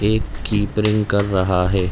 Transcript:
एक कीपरिंग कर रहा है।